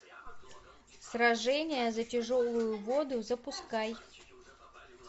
сражение за тяжелую воду запускай